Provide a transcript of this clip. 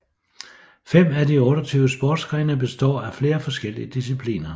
Fem af de 28 sportsgrene består af flere forskellige discipliner